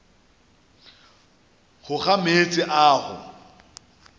go ga meetse a go